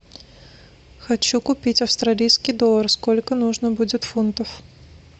хочу купить австралийский доллар сколько нужно будет фунтов